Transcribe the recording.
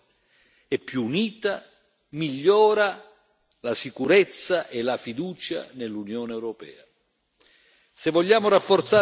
un'area Schengen più forte e più unita migliora la sicurezza e la fiducia nell'Unione europea.